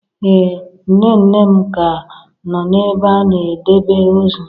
Ee nne nne m ka nọ n'ebe a na-edebe ozu.